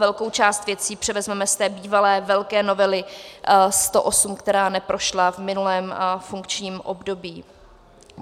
Velkou část věcí převezmeme z té bývalé velké novely 108, která neprošla v minulém funkčním období.